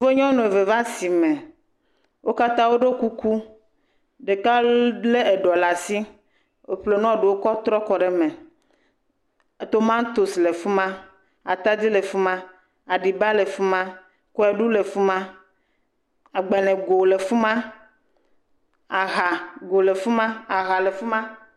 Nyɔnu eve va asime wo katã woɖɔ kuku ɖeka lé eɖɔ ɖe asi woƒle nu ɖewo kɔ kɔ ɖe eme, atadi le fi ma, tomatosi, le fi ma, aɖib ale fi ma kɔɖu le fi ma, agbalẽgo le fi ma, aha le fi ma.